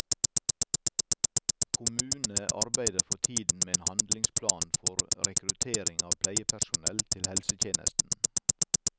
Kommune arbeider for tiden med en handlingsplan for rekruttering av pleiepersonell til helsetjenesten.